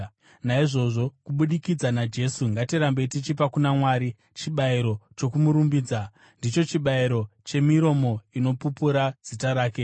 Naizvozvo, kubudikidza naJesu ngatirambei tichipa kuna Mwari chibayiro chokumurumbidza, ndicho chibayiro chemiromo inopupura zita rake.